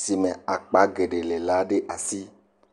si me akpa geɖee le la ɖe asi.